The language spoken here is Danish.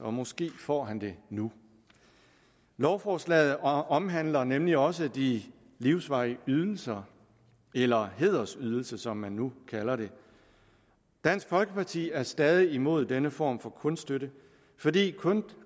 og måske får han det nu lovforslaget omhandler nemlig også de livsvarige ydelser eller hædersydelser som man nu kalder dem dansk folkeparti er stadig imod denne form for kunststøtte fordi